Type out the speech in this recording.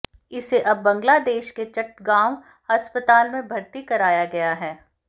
इसे अब बांग्लादेश के चट्टगांव अस्पताल में भर्ती कराया गया है